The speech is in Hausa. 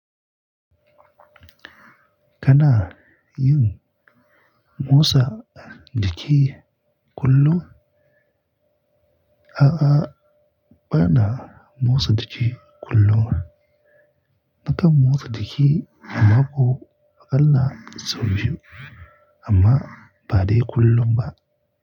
Kana yin motsa jiki kullum? A'a, bana motsa jiki kullum. Nakan motsa jiki a mako aƙalla sau biyu amma ba dai kullum ba.